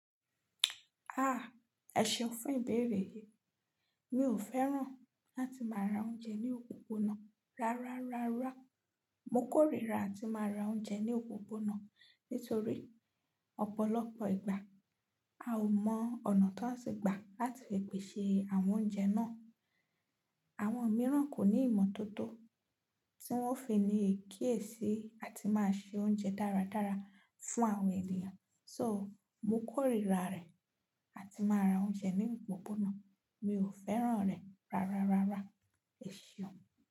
Ah! Ẹ ṣeun fún ìbéèrè yìí. Mi ò fẹ́ràn láti máa ra oúnjẹ ní òpópónà rárárárá. Mo kórìíra ti máa ra oúnjẹ ní òpópónà nítorí ọ̀pọ̀lọpọ̀ ìgbà, a ò mọ ọ̀nà tí wọ́n se gbà láti pèsè àwọn oúnjẹ náà. Àwọn mìíràn kò ní ìmọ̀tótó tí wọ́n fi ní kiyesí àti máa se oúnjẹ dáradára fún àwọn ènìyàn. So, mo kórìíra rẹ̀ àti máa ra oúnjẹ ní òpópónà. Mi ò fẹ́ràn rẹ̀ rárárárá. Ẹ ṣeun.